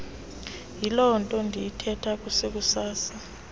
yilonto ndiyithetha kusekusasa